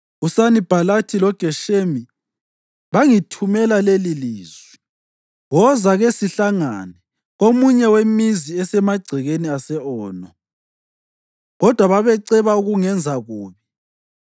uSanibhalathi loGeshemi bangithumela lelilizwi: “Woza, kesihlangane komunye wemizi esemagcekeni ase-Ono.” Kodwa babeceba ukungenza kubi;